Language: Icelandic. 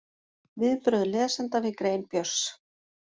Viðbrögð lesenda við grein Björns